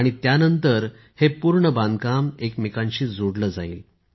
आणि त्यानंतर हे पूर्ण बांधकाम एकमेकांशी जोडले जाईल